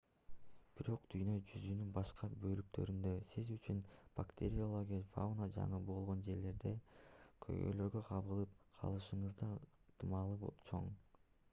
бирок дүйнө жүзүнүн башка бөлүктөрүндө сиз үчүн бактериологиялык фауна жаңы болгон жерлерде көйгөйлөргө кабылып калышыңыздын ыктымалы чоң